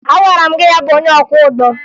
Agwara m gị hapụ onye ọkwọụgbọ!